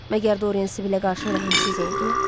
Məgər Dorian Sibillə qarşı rəhmsiz oldu?